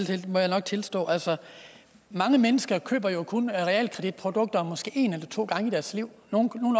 det må jeg tilstå altså mange mennesker køber jo kun realkreditprodukter måske en eller to gange i deres liv nogle